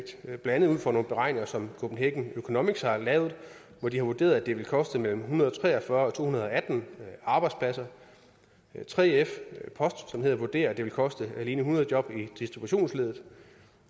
er blandt andet ud fra nogle beregninger som copenhagen economics har lavet og hvor de har vurderet at det vil koste mellem en hundrede og tre og fyrre og to hundrede og atten arbejdspladser 3f post vurderer at det vil koste alene hundrede job i distributionsleddet